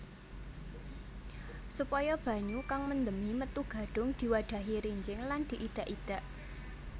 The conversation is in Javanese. Supaya banyu kang mendemi metu gadhung diwadhahi rinjing lan diidak idak